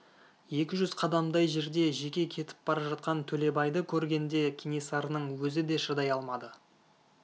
екі жүз қадамдай жерде жеке кетіп бара жатқан төлебайды көргенде кенесарының өзі де шыдай алмады